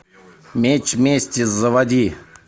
меч мести заводи